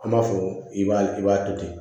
An b'a fɔ i b'a i b'a to ten